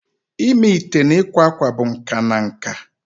Ịme ite na ịkwa akwa bụ nka na nka